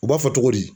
U b'a fɔ togo di